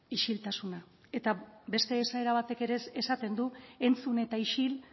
isiltasuna eta beste esaerak batek ere esaten du entzun eta isil